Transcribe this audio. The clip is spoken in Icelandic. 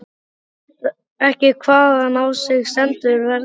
Hún veit ekki hvaðan á sig stendur veðrið.